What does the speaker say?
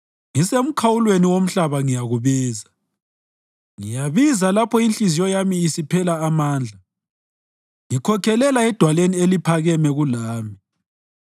Ngisemkhawulweni womhlaba ngiyakubiza, ngiyabiza lapho inhliziyo yami isiphela amandla; ngikhokhelela edwaleni eliphakeme kulami.